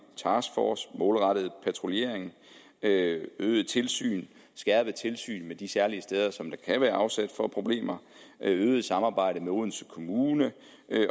taskforce målrettet patruljering øget tilsyn skærpet tilsyn med de særlige steder som kan være afsæt for problemer øget samarbejde med odense kommune